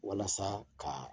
Walasa ka